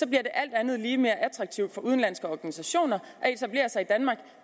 det alt andet lige mere attraktivt for udenlandske organisationer at etablere sig i danmark